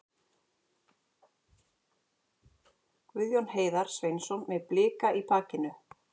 Guðjón Heiðar Sveinsson með Blika í bakinu.